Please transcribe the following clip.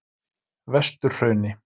Vesturhrauni